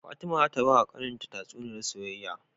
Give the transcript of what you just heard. Fatima zata bawa kAnan ta tatsuniyar soyyaya